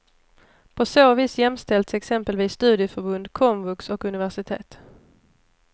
På så vis jämställs exempelvis studieförbund, komvux och universitet.